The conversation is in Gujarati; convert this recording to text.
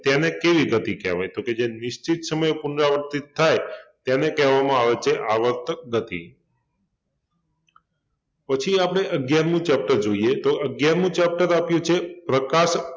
તેને કેવી ગતિ કહેવાય? તો કે જે નિશ્ચિત સમયે પુનરાવર્તિત થાય તેને કહેવામાં આવે છે આવર્તિત ગતિ પછી આપડે અગ્યારમું chapter જોઈએ તો અગ્યારમું chapter આપ્યુ છે પ્રકાશ